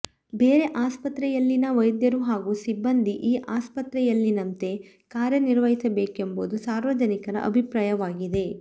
ಬೇರೆ ಆಸ್ಪತ್ರೆಯಲ್ಲಿನ ವೈದ್ಯರು ಹಾಗೂ ಸಿಬ್ಬಂದಿ ಈ ಆಸ್ಪತ್ರೆಯಲ್ಲಿನಂತೆ ಕಾರ್ಯ ನಿರ್ವಹಿಸಬೇಕೆಂಬುದು ಸಾರ್ವಜನಿಕರ ಅಭಿಪ್ರಾಯವಾಗಿದೆ